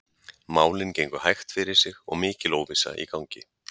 Málin gengu hægt fyrir sig og mikil óvissa í gangi.